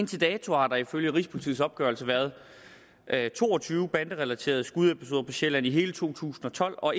til dato har der ifølge rigspolitiets opgørelse været to og tyve banderelaterede skudepisoder på sjælland i hele to tusind og tolv og